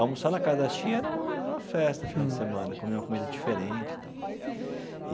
Almoçar na casa das tia era era uma festa, final de semana, comer uma comida diferente e tal.